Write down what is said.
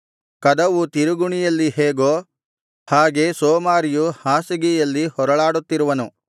ಕದವು ತಿರುಗುಣಿಯಲ್ಲಿ ಹೇಗೋ ಹಾಗೆ ಸೋಮಾರಿಯು ಹಾಸಿಗೆಯಲ್ಲಿ ಹೊರಳಾಡುತ್ತಿರುವನು